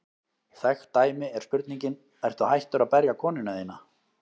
Þekkt dæmi er spurningin: Ertu hættur að berja konuna þína?